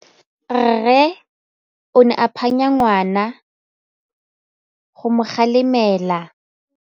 Rre o ne a phanya ngwana go mo galemela.